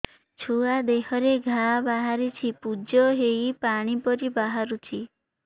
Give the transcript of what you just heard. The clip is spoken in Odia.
ଛୁଆ ଦେହରେ ଘା ବାହାରିଛି ପୁଜ ହେଇ ପାଣି ପରି ବାହାରୁଚି